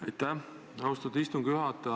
Aitäh, austatud istungi juhataja!